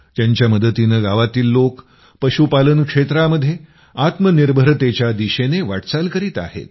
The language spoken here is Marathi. त्यांच्या मदतीनं गावातील लोक पशूपालन क्षेत्रामध्ये आत्मनिर्भरतेच्या दिशेनं वाटचाल करीत आहेत